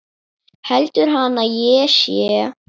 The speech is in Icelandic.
Heldur hann að ég sé.